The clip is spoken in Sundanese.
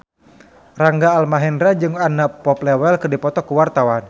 Rangga Almahendra jeung Anna Popplewell keur dipoto ku wartawan